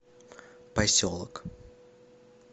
поселок